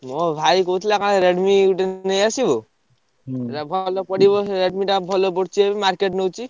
ମୋ ଭାଇ କହୁଥିଲା କଣ Redmi ନେଇଆସିବୁ ସେଟା ଭଲ ପଡିବ ସେ Redmi ଟା ଭଲ ପଡୁଛି ଏବେ market ନଉଚି।